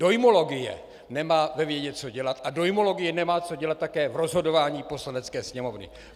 Dojmologie nemá ve vědě co dělat a dojmologie nemá co dělat také v rozhodování Poslanecké sněmovny.